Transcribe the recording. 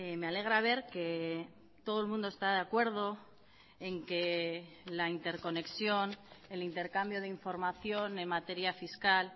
me alegra ver que todo el mundo está de acuerdo en que la interconexión el intercambio de información en materia fiscal